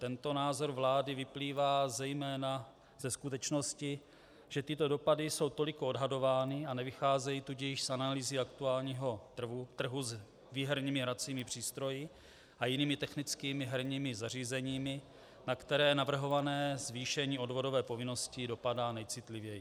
Tento názor vlády vyplývá zejména ze skutečnosti, že tyto dopady jsou toliko odhadovány, a nevycházejí tudíž z analýzy aktuálního trhu s výherními hracími přístroji a jinými technickými herními zařízeními, na které navrhované zvýšení odvodové povinnosti dopadá nejcitlivěji.